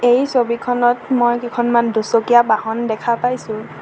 এই ছবিখনত মই কেইখনমান দুচকীয়া বাহন দেখা পাইছোঁ।